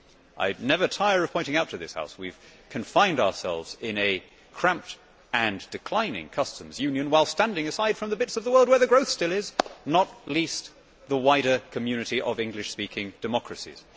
I never tire of pointing out to this House that we have confined ourselves in a cramped and declining customs union, while standing aside from the bits of the world where the growth still is, not least the wider community of English speaking democracies.